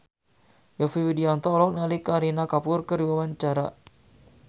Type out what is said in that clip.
Yovie Widianto olohok ningali Kareena Kapoor keur diwawancara